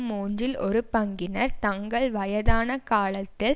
மூன்றில் ஒரு பங்கினர் தங்கள் வயதான காலத்தில்